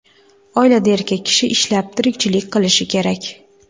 Oilada erkak kishi ishlab, tirikchilik qilishi kerak.